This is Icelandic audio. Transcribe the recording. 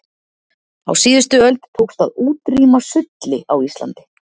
Á síðustu öld tókst að útrýma sulli á Íslandi.